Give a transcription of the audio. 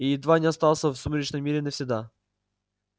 и едва не остался в сумеречном мире навсегда